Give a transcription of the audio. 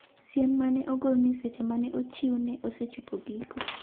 siem ma ne ogol ni seche mane ochiw ne osechopo giko